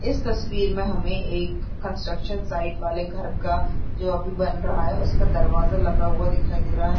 इस तस्वीर में हमें एक कंस्ट्रक्शन साइट वाले घर का जो अभी बन रहा है उसका दरवाजा लगा हुआ दिखाई दे रहा है।